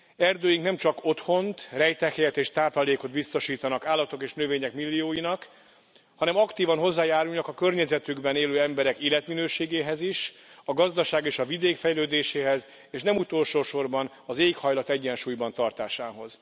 Erdőink nemcsak otthont, rejtekhelyet és táplálékot biztosítanak állatok és növények millióinak, hanem aktívan hozzájárulnak a környezetükben élő emberek életminőségéhez is, a gazdaság és a vidék fejlődéséhez, és nem utolsósorban az éghajlat egyensúlyban tartásához.